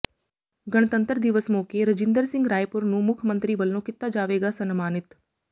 ਗਣਤੰਤਰ ਦਿਵਸ ਮੌਕੇ ਰਜਿੰਦਰ ਸਿੰਘ ਰਾਏਪੁਰ ਨੂੰ ਮੁੱਖ ਮੰਤਰੀ ਵੱਲੋਂ ਕੀਤਾ ਜਾਵੇਗਾ ਸਨਮਾਨਿਤ